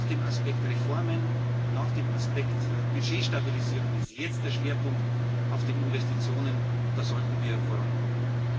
Nach dem Aspekt Reformen und nach dem Aspekt Budgetstabilisierung liegt jetzt der Schwerpunkt auf den Investitionen. Da sollten wir vorankommen.